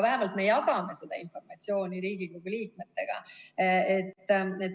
Vähemalt me jagame seda informatsiooni Riigikogu liikmetega.